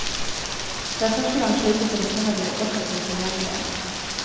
Det er første gang slike telefoner blir offentlig tilgjengelige.